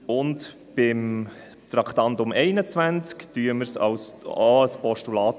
Den Vorstoss unter Traktandum 21 unterstützen wir als Postulat.